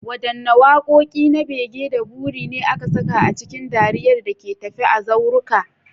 Wadanne wakoki na bege da buri ne aka saka a cikin dariyar da ke tafe a zauruka?